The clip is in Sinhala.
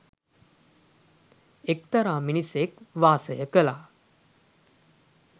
එක්තරා මිනිසෙක් වාසය කළා.